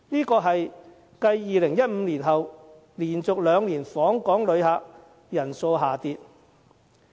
這是繼2015年後連續兩年訪港旅客人數下跌。